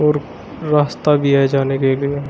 और रास्ता भी है जाने के लिए।